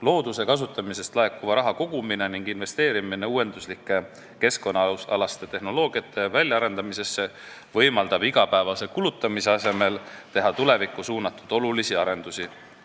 Looduse kasutamisest laekuva raha kogumine ning investeerimine uuenduslike keskkonnaalaste tehnoloogiate väljaarendamisse võimaldab igapäevase kulutamise asemel teha tulevikku suunatud olulisi arendusi.